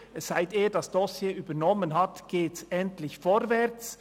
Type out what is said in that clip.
Seit er das Dossier übernommen hat, geht es endlich vorwärts.